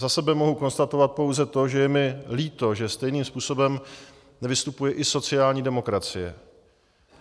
Za sebe mohu konstatovat pouze to, že je mi líto, že stejným způsobem nevystupuje i sociální demokracie.